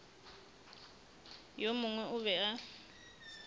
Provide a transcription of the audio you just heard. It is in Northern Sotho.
yo mongwe o be a